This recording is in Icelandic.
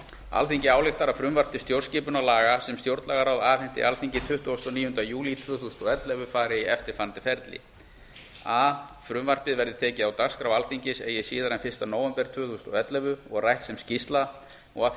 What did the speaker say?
alþingi ályktar að frumvarp til stjórnarskipunarlaga sem stjórnlagaráð afhenti alþingi tuttugasta og níunda júlí tvö þúsund og ellefu fari í eftirfarandi ferli a frumvarpið verði tekið á dagskrá alþingis eigi síðar en fyrsta nóvember tvö þúsund og ellefu og rætt sem skýrsla og að því